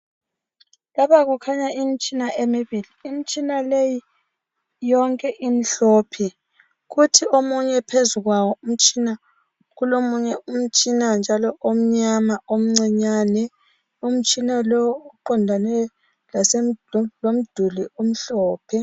Lapha kukhanya imitshina emibili imitshina leyi yonke imhlophe kuthi omunye phezukwawo umtshina kulomunye umtshina njalo omnyama omcinyane umtshina lowo uqondane lase lomduli omhlophe.